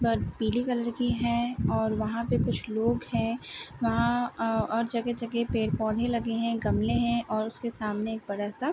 But पीली colour की है और वहाँ पे कुछ लोग है। वहाँ अ और जगह-जगह पेड़ पौधे लगे हैं गमले हैं और उसके सामने एक बड़ा सा --